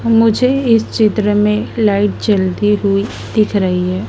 मुझे इस चित्र में लाइट जलती हुई दिख रही है।